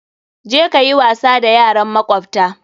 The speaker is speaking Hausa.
Je ka yi wasa da yaran makwabta!